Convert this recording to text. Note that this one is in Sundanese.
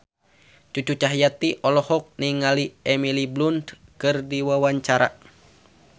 Cucu Cahyati olohok ningali Emily Blunt keur diwawancara